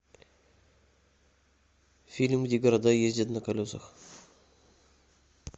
фильм где города ездят на колесах